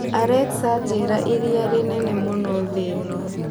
Alexa njĩira ĩrĩa rĩnene mũno thĩ ĩno